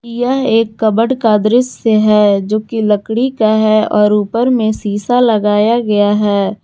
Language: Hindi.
यह एक कबर्ड का दृश्य जो की लकड़ी का है और उपर में शीशा लगाया गया है।